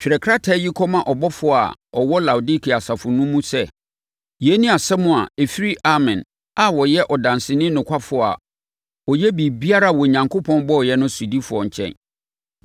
“Twerɛ krataa yi kɔma ɔbɔfoɔ a ɔwɔ Laodikea asafo mu no sɛ: Yei ne asɛm a ɛfiri Amen a ɔyɛ ɔdanseni nokwafoɔ a ɔyɛ biribiara a Onyankopɔn bɔeɛ no sodifoɔ nkyɛn.